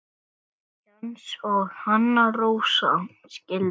Jens og Anna Rósa skildu.